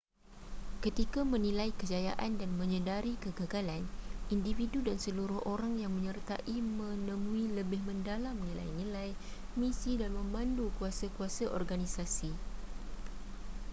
ketika menilai kejayaan dan menyedari kegagalan individu dan seluruh orang yang menyertai menemui lebih mendalam nilai-nilai misi dan memandu kuasa-kuasa organisasi